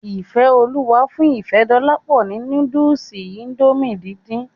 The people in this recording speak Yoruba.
Ifeoluwa fún Ifedolapo ni núdùùsì Índòmí díndín.